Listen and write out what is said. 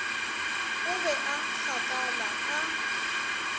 o be a gakala a